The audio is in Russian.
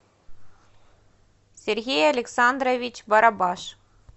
сергей александрович барабаш